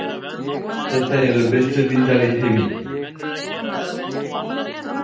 Þetta eru bestu vindlar í heimi.